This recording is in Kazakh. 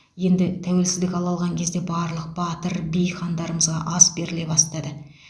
енді тәуелсіздік ала қалған кезде барлық батыр би хандарымызға ас беріле бастады